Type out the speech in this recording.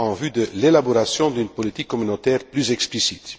en vue de l'élaboration d'une politique communautaire plus explicite.